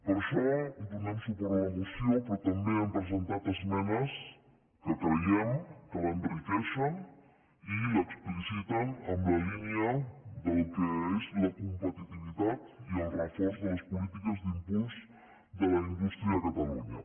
per això donem suport a la moció però també hi hem presentat esmenes que creiem que l’enriqueixen i l’expliciten en la línia del que és la competitivitat i el reforç de les polítiques d’impuls de la indústria a catalunya